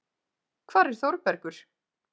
Hvar er Þórbergur?